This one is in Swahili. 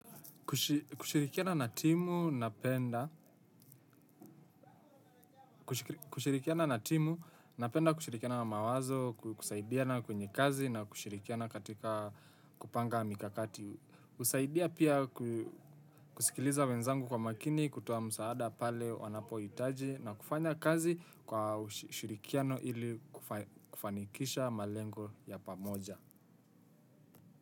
Kushirikiana na timu, napenda kushirikiana na mawazo, kusaidiana kwenye kazi na kushirikiana katika kupanga mikakati. Husaidia pia kusikiliza wenzangu kwa makini, kutoa msaada pale wanapohitaji na kufanya kazi kwa ushirikiano ili kufanikisha malengo ya pamoja.